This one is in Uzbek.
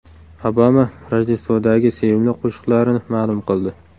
Obama Rojdestvodagi sevimli qo‘shiqlarini ma’lum qildi.